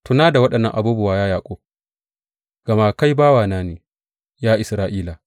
Tuna da waɗannan abubuwa, ya Yaƙub, gama kai bawana ne, ya Isra’ila.